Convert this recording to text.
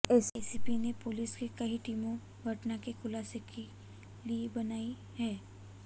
SSP ने पुलिस की कई टीमें घटना के खुलासे के लिए बनाई हैं